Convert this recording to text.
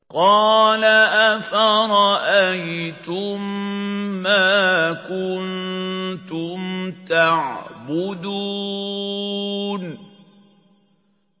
قَالَ أَفَرَأَيْتُم مَّا كُنتُمْ تَعْبُدُونَ